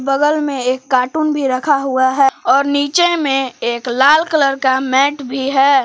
बगल में एक कार्टून भी रखा हुआ है और नीचे में एक लाल कलर का मैट भी है।